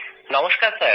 নমস্কার স্যার